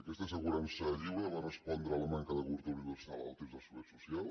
aquesta assegurança lliure va respondre a la manca de cobertura universal en el temps de la seguretat social